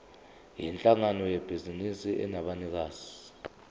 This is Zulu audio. yinhlangano yebhizinisi enabanikazi